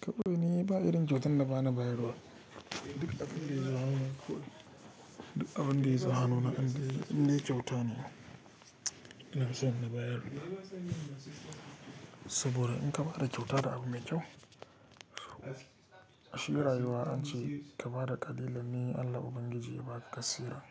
Ka barni ba irin kyautan da ba na bayarwa. Duk abin da yazo hannu na, in de kyauta ne, ina son na bayar da. Saboda in ka bada kyauta da abu mai kyau, shi rayuwa an ce ka bada ƙalilan ne Allah Ubangiji ya ba ka kasiran.